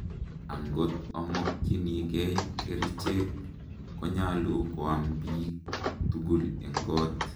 angot imokyinigei kerichek, konyalu koam biik tugul en kot